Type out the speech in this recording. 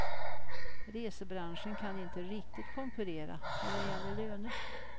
Resebranschen kan inte riktigt konkurrera när det gäller löner.